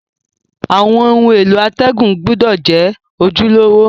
Àwon oun èló àtègùn gbúdò je ojúlówó